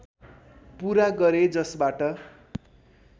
पूरा गरे जसबाट